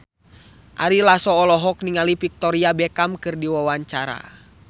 Ari Lasso olohok ningali Victoria Beckham keur diwawancara